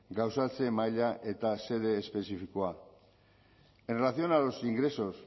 gauzatze maila eta xede espezifikoa en relación a los ingresos